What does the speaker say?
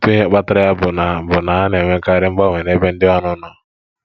Otu ihe kpatara ya bụ na bụ na a na-enwekarị mgbanwe n'ebe ndị ọrụ nọ.